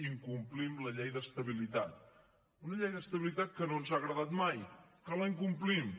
incomplim la llei d’estabilitat una llei d’estabilitat que no ens ha agradat mai que la incomplim